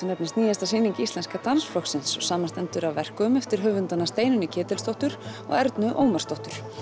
nefnist nýjasta sýning Íslenska dansflokksins og samanstendur af verkum eftir höfundana Steinunni Ketilsdóttur og Ernu Ómarsdóttur